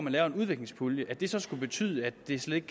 at lave en udviklingspulje så skulle betyde at det slet